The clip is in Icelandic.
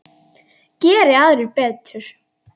Geri aðrir betur!